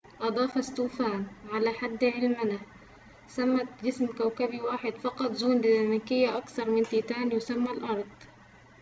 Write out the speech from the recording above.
أضاف ستوفان على حد علمنا ثمة جسم كوكبي واحد فقط ذو ديناميكية أكثر من تيتان يُسمى الأرض